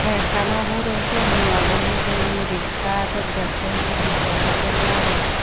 bayek kano hure sen hi obo hijeni riksa adaw dekte hintu riksa dokken lager.